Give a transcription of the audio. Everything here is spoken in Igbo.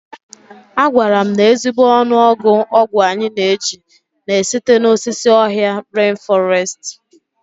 A gwara m na ezigbo ọnụọgụ ọgwụ anyị na-eji na-esite n'osisi ọhịa ren fọrestị.